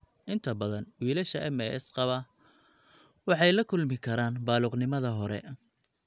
Inta badan, wiilasha MAS qaba waxay la kulmi karaan baaluqnimada hore.